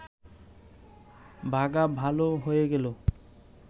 বাঘা ভাল হয়ে গেল